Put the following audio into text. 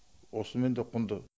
осымен де құнды